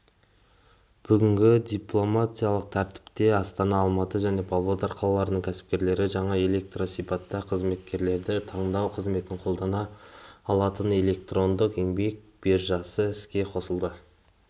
бүгінпилоттық тәртіпте астана алматы және павлодар қалаларының кәсіпкерлері жаңа электрондысипатта қызметкерлерді таңдау қызметін қолдана алатынэлектрондық еңбек биржасы іске қосылды